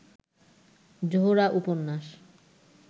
জোহরা উপন্যাস